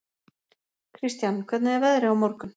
Kristian, hvernig er veðrið á morgun?